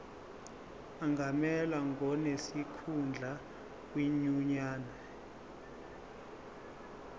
angamelwa ngonesikhundla kwinyunyane